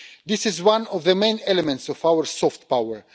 This is one of the main elements of our soft power.